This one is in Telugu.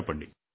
చెప్పండి